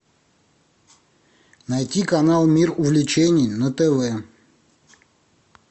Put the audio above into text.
найти канал мир увлечений на тв